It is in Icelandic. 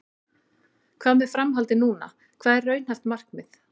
Hvað með framhaldið núna, hvað er raunhæft markmið?